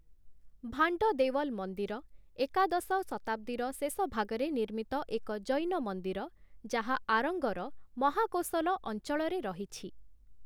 ଭାଣ୍ଡ ଦେୱଲ ମନ୍ଦିର' ଏକାଦଶ ଶତାବ୍ଦୀର ଶେଷଭାଗରେ ନିର୍ମିତ ଏକ ଜୈନ ମନ୍ଦିର ଯାହା, ଆରଙ୍ଗର ମହାକୋଶଲ ଅଞ୍ଚଳରେ ରହିଛି ।